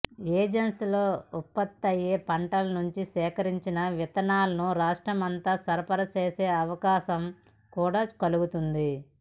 ఏజెన్సీలో ఉత్పత్తయ్యే పంటల నుంచి సేకరించిన విత్తనాలను రాష్టమ్రంతా సరఫరా చేసే అవకాశం కూడా కలుగుతుంది